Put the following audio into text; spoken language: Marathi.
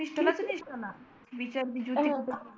तुला त जुती कुठं